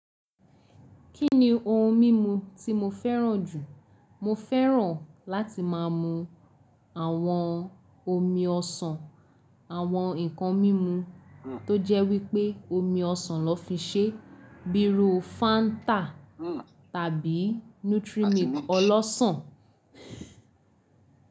Kí ni ohun mímu tí mo fẹ́ràn jù? Mo fẹ́ràn láti máa mú àwọn omi ọsàn, àwọn ǹkan mímu tó jẹ́ wípé omi ọsàn lọ́ fi ṣe bíi ru Fanta tàbí Nutri Milk ọlọ́sàn.